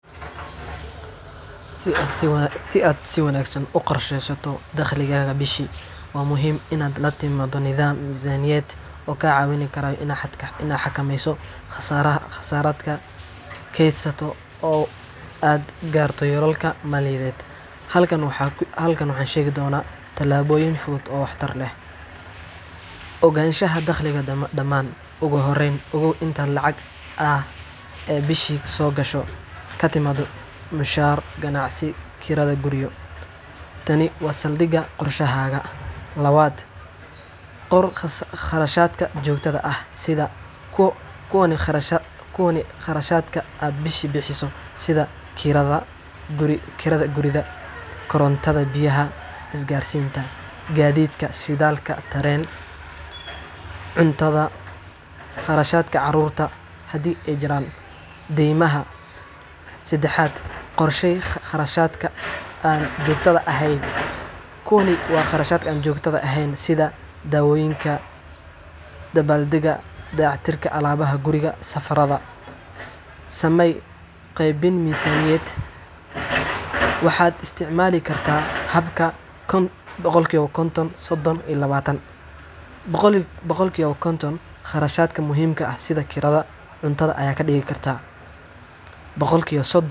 Si aad si wanaagsan u qorsheysato dakhligaaga bishii, waa muhiim inaad la timaado nidaam miisaaniyad leh oo kaa caawinaya inaad xakameyso kharashaadka, kaydsato, oo aad gaarto yoolalkaaga maaliyadeed. Halkan waxaa ku yaal talaabooyin fudud oo waxtar leh: Ogaanshaha Dakhliga DhammaaUgu horreyn, ogow inta lacag ah ee aad bishii soo gasho ka timid mushaar, ganacsi, kirada guryo, iwm.. Tani waa saldhigga qorshahaaga. Qor Kharashaadka Joogtada ahKuwani waa kharashaadka aad bishiiba bixiso, sida:Kirada gurigaKorontada, biyaha, isgaarsiintaGaadiidka shidaalka, tareen, iwm. CuntadaKharashaadka carruurta haddii ay jiraanDeymaha haddii aad leedahay Qorshee Kharashaadka Aan Joogtada ahayKuwani waa kharashaadka aan joogtada ahayn sida.